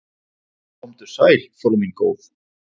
"""Komdu sæl, frú mín góð."""